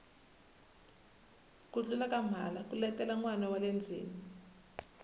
ku tlula ka mhala ku letela nwana wale ndzeni